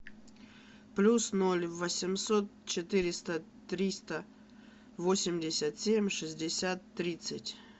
плюс ноль восемьсот четыреста триста восемьдесят семь шестьдесят тридцать